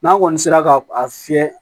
N'a kɔni sera ka a fiyɛ